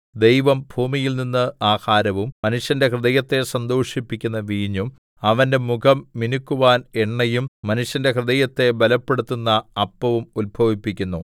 ദൈവം ഭൂമിയിൽനിന്ന് ആഹാരവും മനുഷ്യന്റെ ഹൃദയത്തെ സന്തോഷിപ്പിക്കുന്ന വീഞ്ഞും അവന്റെ മുഖം മിനുക്കുവാൻ എണ്ണയും മനുഷ്യന്റെ ഹൃദയത്തെ ബലപ്പെടുത്തുന്ന അപ്പവും ഉത്ഭവിപ്പിക്കുന്നു